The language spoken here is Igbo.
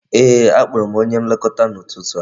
Ee, a kpọrọ m onye Nlekọta n'ụtụtụ a